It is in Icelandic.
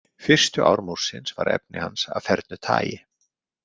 Fyrstu ár Múrsins var efni hans af fernu tagi.